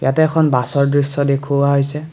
তাতে এখন বাছৰ দৃশ্য দেখুওৱা হৈছে।